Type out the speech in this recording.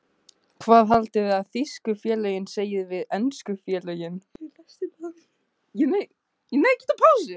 Hvað haldiði að þýsku félögin segi við ensku félögin?